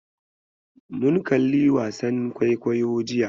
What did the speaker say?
Mun kalli wasan kwaikwayo jiya.